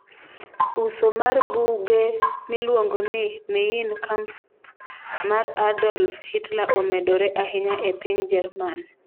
Uso mar buge miluongo ni Mein Kampf mar Adolf Hitler omedore ahinya e piny Jerman